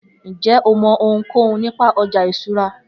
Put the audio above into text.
Njẹ o mọ ohunkohun nipa ọja iṣura?